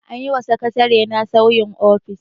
An yi wa sakatarena sauyin ofis.